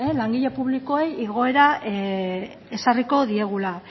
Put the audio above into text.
langile publikoei igoera ezarriko diegula